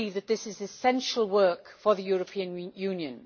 I believe that this is essential work for the European Union.